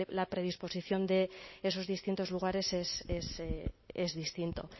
la predisposición de esos distintos lugares es distinto